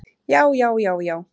Já, já, já, já!